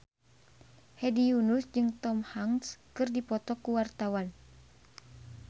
Hedi Yunus jeung Tom Hanks keur dipoto ku wartawan